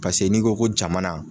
Pase n'i ko ko jamana.